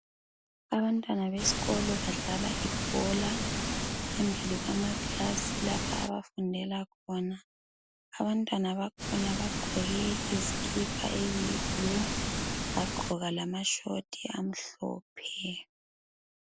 Abantwana besikolo badlala ibhola phambili kwama class lapho abafundela khona . Abantwana bakhona bagqoke izikipa eziyi blue, bagqoka lamashoti amhlophe.